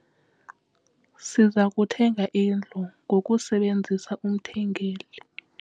Siza kuthenga indlu ngokusebenzisa umthengeli.